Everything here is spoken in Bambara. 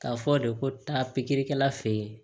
K'a fɔ de ko taa pikirikɛla fe ye